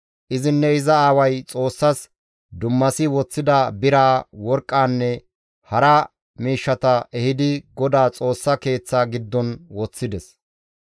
Izinne iza aaway Xoossas dummasi woththida biraa, worqqaanne hara miishshata ehidi GODAA Xoossa Keeththa giddon woththides.